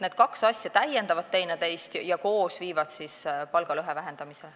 Need kaks asja täiendavad teineteist ja viivad koos palgalõhe vähendamisele.